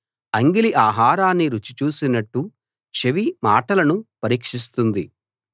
అంగిలి ఆహారాన్ని రుచి చూసినట్టు చెవి మాటలను పరీక్షిస్తుంది